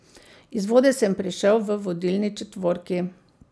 Iz vode sem prišel v vodilni četvorki.